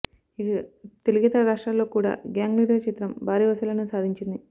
ఇక తెలుగేతర రాష్ట్రాల్లో కూడా గ్యాంగ్ లీడర్ చిత్రం భారీ వసూళ్లను సాధించింది